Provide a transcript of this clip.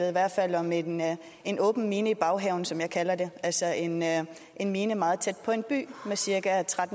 i hvert fald om en en åben mine i baghaven som jeg kalder det altså en en mine meget tæt på en by med cirka